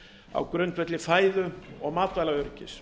á grundvelli fæðu og matvælaöryggis